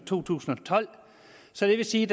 to tusind og tolv så det vil sige